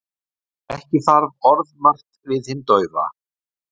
Ekki þarf orðmargt við hinn daufa.